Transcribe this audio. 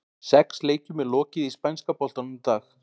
Sex leikjum er lokið í spænska boltanum í dag.